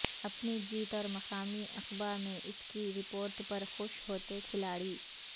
اپنی جیت اور مقامی اخبا میں اس کی رپورٹ پر خوش ہوتے کھلاڑی